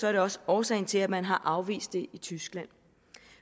er det også årsagen til at man har afvist det i tyskland